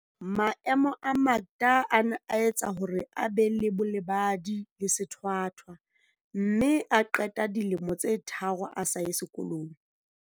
Maemo a Makda a ne a etsa hore a be le bolebadi le sethwa thwa mme a qeta dilemo tse tharo a sa ye sekolong.